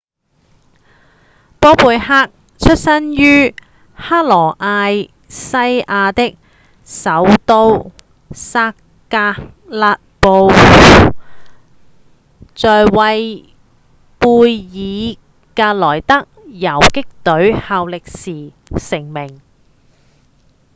波貝克出生於克羅埃西亞的首都薩格勒布在為貝爾格萊德游擊隊效力時成名